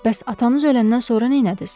Bəs atanız öləndən sonra neylədiniz?